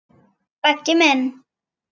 Beggi minn.